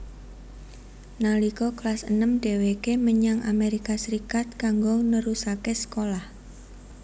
Nalika kelas enem dhèwèké menyang Amerika Serikat kanggo nerusaké sekolah